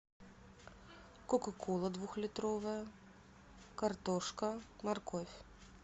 кока кола двухлитровая картошка морковь